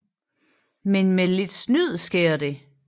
Men med lidt snyd sker det